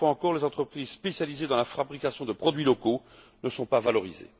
Une fois, encore, les entreprises spécialisées dans la fabrication de produits locaux ne sont pas valorisées.